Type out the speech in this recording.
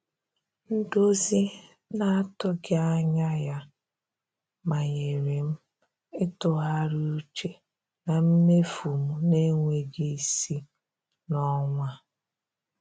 Ndozi na-atụghị anya ya manyere m ịtụgharị uche na mmefu m na-enweghị isi n'ọnwa a.